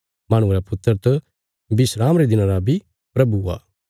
माहणुये रा पुत्र त विस्राम रे दिना रा बी प्रभु आ